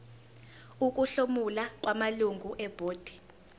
ukuhlomula kwamalungu ebhodi